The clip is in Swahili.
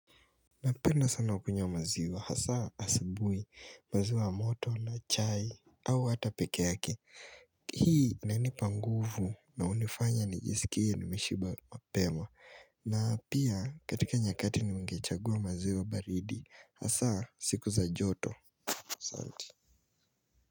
Napenda sana kukunywa maziwa hasa asubuhi maziwa moto na chai au hata peke yake Hii inanipa nguvu na hunifanya nijisikie nimeshiba mapema na pia katika nyakati nimengechagua maziwa baridi hasa siku za joto asanti.